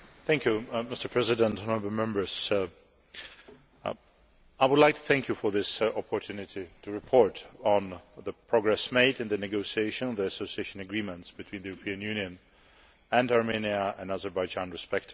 Mr President, honourable Members, I would like to thank you for this opportunity to report on the progress made in the negotiations on the Association Agreements between the European Union and Armenia and Azerbaijan respectively.